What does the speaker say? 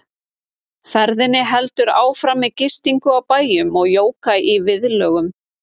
Ferðinni heldur áfram með gistingu á bæjum og jóga í viðlögum.